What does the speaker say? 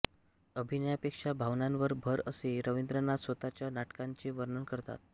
अभिनयापेक्षा भावनांवर भर असे रवींद्रनाथ स्वतःच्या नाटकांचे वर्णन करतात